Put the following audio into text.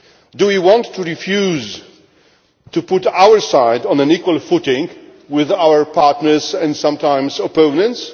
Do we want to refuse to put our side on an equal footing with our partners who are sometimes opponents?